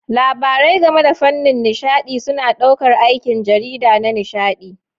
Labarai game da fannin nishaɗi suna ɗaukar aikin jarida na nishaɗi.